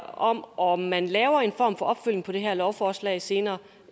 om om man laver en form for opfølgning på det her lovforslag senere